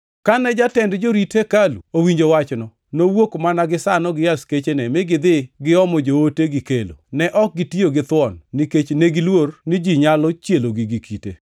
Kane jatend jorit hekalu owinjo wachno, nowuok mana gisano gi askechene mi gidhi giomo joote gikelo. Ne ok gitiyo githuon, nikech negiluor ni ji nyalo chielogi gi kite.